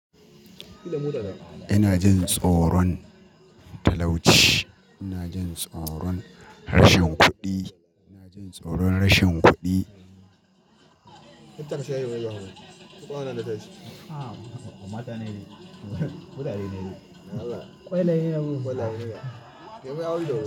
Ina jin tsoron talauci, ina jin tsoron rashin kuɗi, ina jin tsoron rashin kudi kuɗi.